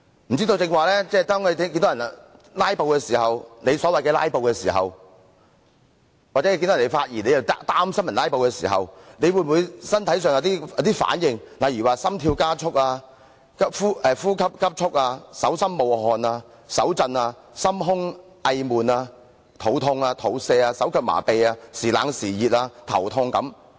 不知道剛才黃議員看到有人在所謂"拉布"時，或聽到有人發言便擔心會"拉布"時，他身體有否產生反應，例如心跳加速、呼吸急速、手心冒汗、手震、心胸翳悶、肚痛、肚瀉、手腳麻痺、忽冷忽熱、頭痛等。